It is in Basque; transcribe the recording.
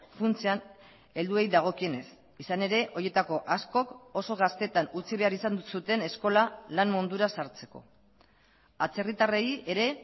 funtsean helduei dagokienez izan ere horietako askok oso gaztetan utzi behar izan zuten eskola lan mundura sartzeko atzerritarrei ere